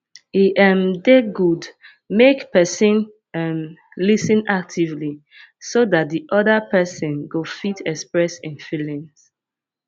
e um dey good make person um lis ten actively so dat di oda person go fit express im feelings